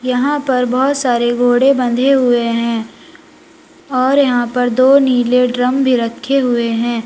यहाँ पर बहुत सारे घोड़े बंधे हुए हैं और यहाँ पर दो नीले ड्रम भी रखे हुए हैं।